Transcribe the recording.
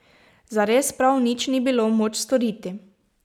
Zares, prav nič ni bilo moč storiti.